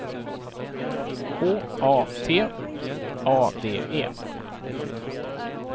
H A T A D E